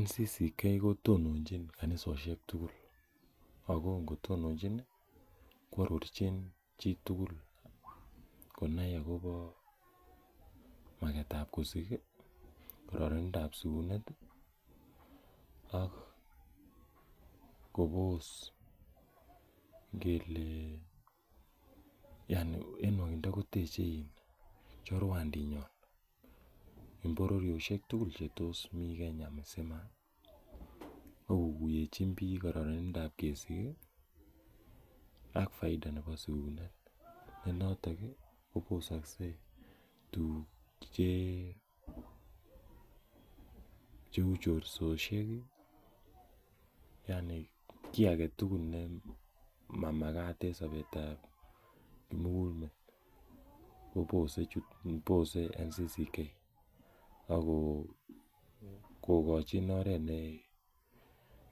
NCCK ko tononchin kanisoshek tugul. Ako ngo tononchin ko arorchin chi tugul ko nai akopa maket ap kusik i, kararanindoap sikunet ak kopos ngele yani ene nwagindo koteche chorwandinyon en pororioshek tugul che tos mi Kenya msima. Ak kokuyenchin piik kararanindoap kesik i, ak faida nepo sikunet. Eng' yotok koposokse tuguk che u chorsoshek i, yani ki age ne mamakat en sapetap kimugul met kopose NCCK ako kachin oret ne